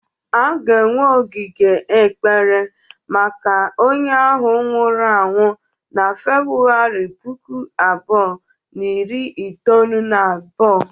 A ga-enwe ogige ekpere maka onye ahụ nwụrụ anwụ na February puku abuo na iri itoolu na abuo.